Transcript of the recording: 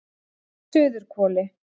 Suðurhvoli